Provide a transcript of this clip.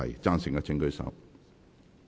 贊成的請舉手。